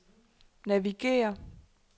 navigér